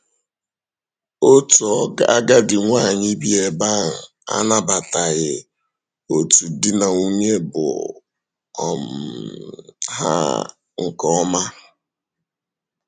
Òtù àgádì nwanyị bí ebe ahụ anabatàghị òtù di na nwunye bụ́ um ha um nke ọma. um